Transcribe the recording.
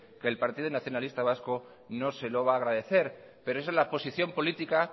que el partido nacionalista vasco no se lo va agradecer pero eso es la posición política